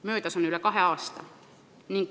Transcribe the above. Möödas on üle kahe aasta.